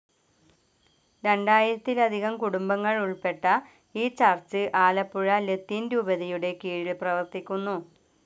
രണ്ടായിരത്തിലധികം കുടുംബങ്ങൾ ഉൾപ്പെട്ട ഈ ചർച്ച്‌ ആലപ്പുഴ ലത്തീൻ രൂപതയുടെ കീഴിൽ പ്രവർത്തിക്കുന്നു.